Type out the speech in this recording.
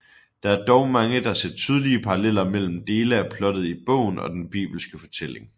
Der er dog mange der ser tydelige paralleller mellem dele af plottet i bogen og den bibelske fortælling